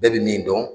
Bɛɛ bɛ min dɔn